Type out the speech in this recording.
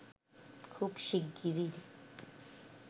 খুব শিগগিরই